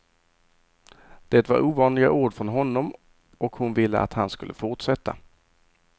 Det var ovanliga ord från honom och hon ville att han skulle fortsätta.